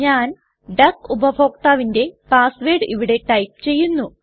ഞാൻ ഡക്ക് ഉപഭോക്താവിന്റെ പാസ് വേർഡ് ഇവിടെ ടൈപ്പ് ചെയ്യുന്നു